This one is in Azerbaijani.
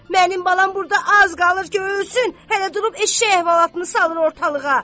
Mənim balam burda az qalır ki, ölsün, hələ durub eşşək əhvalatını salır ortalığa."